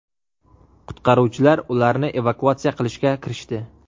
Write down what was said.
Qutqaruvchilar ularni evakuatsiya qilishga kirishdi.